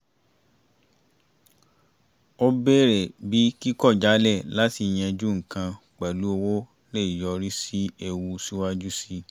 ó bèrè bí kíkọ̀jálẹ̀ láti yanjú nǹkan pẹ̀lú owó lè yọrí sí ewu síwájú sí i